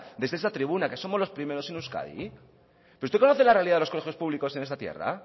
desde esta tribuna que somos los primeros en euskadi pero usted conoce la realidad de los colegios públicos en esta tierra